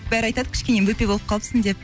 бәрі айтады кішкене бөпе болып қалыпсың деп